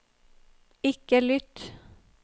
ikke lytt